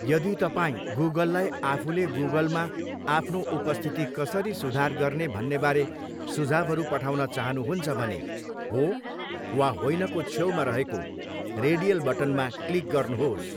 यदि तपाईँ गुगललाई आफूले गुगलमा आफ्नो उपस्थिति कसरी सुधार गर्ने भन्नेबारे सुझाउहरू पठाउन चाहनुहुन्छ भने 'हो' वा 'होइन' को छेउमा रहेको रेडियल बटनमा क्लिक गर्नुहोस्।